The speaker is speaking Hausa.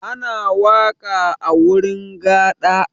Ana waƙa a wurin gaɗa.